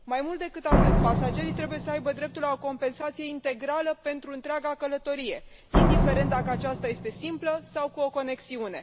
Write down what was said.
Mai mult decât atât, pasagerii trebuie să aibă dreptul la o compensație integrală pentru întreaga călătorie, indiferent dacă aceasta este simplă sau cu o conexiune.